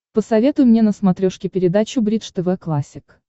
посоветуй мне на смотрешке передачу бридж тв классик